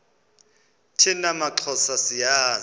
thina maxhosa siyazi